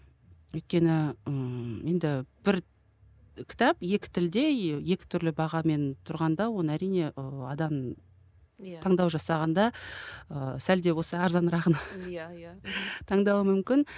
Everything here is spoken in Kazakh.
өйткені ы енді бір кітап екі тілде екі түрлі бағамен тұрғанда оны әрине ы адам иә таңдау жасағанда ы сәлде болса арзанырағын иә иә таңдауы мүмкін